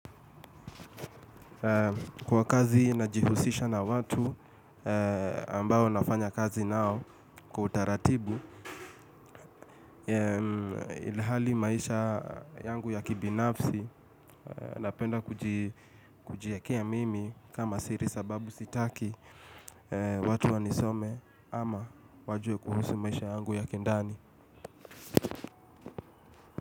Kwa kazi na jihusisha na watu ambao nafanya kazi nao kwa utaratibu, ilihali maisha yangu ya kibinafsi napenda kujiekea mimi kama siri sababu sitaki watu wanisome ama wajue kuhusu maisha yangu ya kindani.